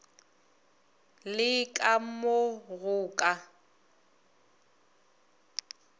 le ka mo go ka